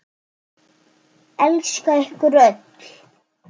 Elska ykkur öll.